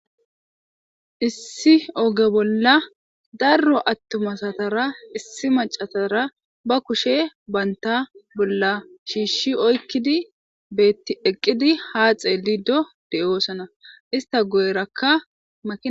issi oge bolla darro attuma asatara issi macatara ba kushe baynta bolla shiishshi oykkidi beetti eqqidi haa xeelido de7oosana ista guyerakkama